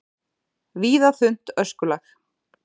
Víða þunnt öskulag